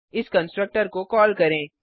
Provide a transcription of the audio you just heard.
इस कंस्ट्रक्टर को कॉल करें